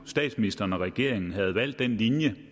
statsministeren og regeringen skulle have valgt den linje